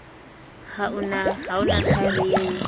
ha o na thaere eo